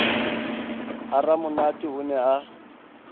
ha ramonate o ne a